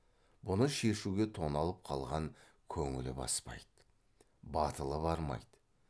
бұны шешуге тоналып қалған көңілі баспайды батылы бармайды